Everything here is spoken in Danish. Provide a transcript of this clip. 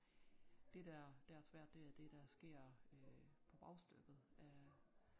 Det der der er svært det er det der sker øh på bagstykket øh